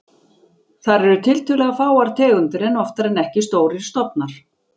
Þar eru tiltölulega fáar tegundir en oftar en ekki stórir stofnar.